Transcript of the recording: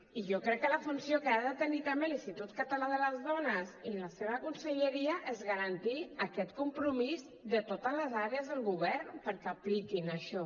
i jo crec que la funció que ha de tenir també l’institut català de les dones i la seva conselleria és garantir aquest compromís de totes les àrees del govern perquè apliquin això